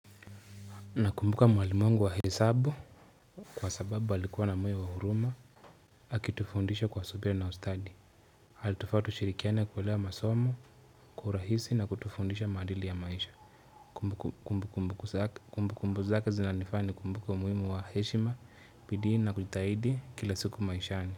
Nakumbuka mwalimu wangu wa hesabu kwa sababu alikuwa na moyo wa huruma akitufundisha kwa subia na ustadi. Halitufaa tushirikiane kuelewa masomo, kurahisi na kutufundisha maadili ya maisha Kumbukumbu zake zinanifanya nikumbuke umuhimu wa heshima bidii na kutahidi kila siku maishani.